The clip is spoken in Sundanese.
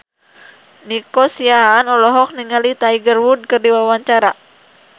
Nico Siahaan olohok ningali Tiger Wood keur diwawancara